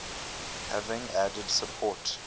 having added support